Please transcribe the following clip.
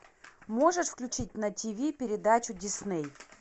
можешь включить на тиви передачу дисней